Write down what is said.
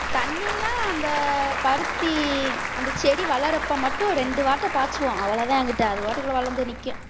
தண்ணிலாம் அந்த பருத்தி அந்த செடி வளர்றப்ப மட்டும் ரெண்டு வாட்ட பாய்ச்சுவோம் அவ்வளவுதான் அங்கிட்டு அதுவாட்டுக்குள்ள வளர்ந்து நிக்கும்